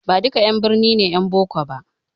Baduka 'yan birni ne 'yan boko ba